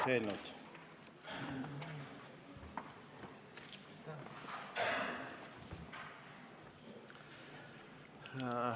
Aitäh!